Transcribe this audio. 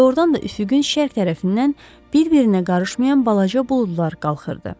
Doğrudan da üfüqün şərq tərəfindən bir-birinə qarışmayan balaca buludlar qalxırdı.